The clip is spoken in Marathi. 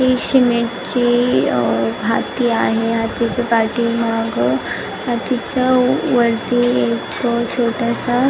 ही सिमेंटची भाती आहे भातीच्या पाठीमाग तिच्या वरती एक छोटस --